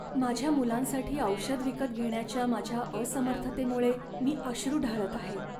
माझ्या मुलांसाठी औषध विकत घेण्याच्या माझ्या असमर्थतेमुळे मी अश्रू ढाळत आहे.